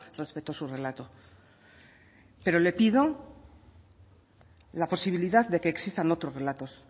respeto su relato pero le pido la posibilidad de que existan otros relatos